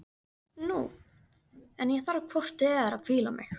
Nú, en ég þarf hvort eð er að hvíla mig.